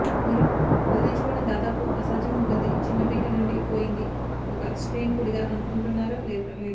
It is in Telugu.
మీరు వదిలించుకోవటం దాదాపు అసాధ్యం ఉంటుంది చిన్న బిట్ నుండి పోయింది ఒక స్టెయిన్ పొడిగా అనుకుంటున్నారా లేదు